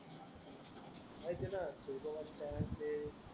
हाय तेना